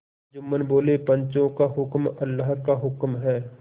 जुम्मन बोलेपंचों का हुक्म अल्लाह का हुक्म है